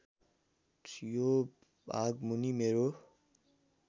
यो भागमुनि मेरो